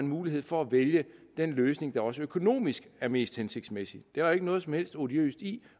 mulighed for at vælge den løsning der også økonomisk er mest hensigtsmæssig det er ikke noget som helst odiøst i